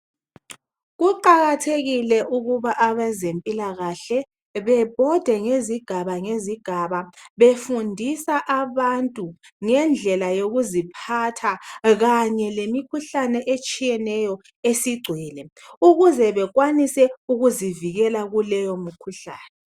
Kuqakathekile ukuba abezempilakahle bebhode ngezigaba ngezigaba befundisa abantu ngendlela yokuziphatha kanye lemikhuhlane etshiyeneyo esigcwele, ukuze bekwanisa ukuzivikela kuleyo mikhuhlane.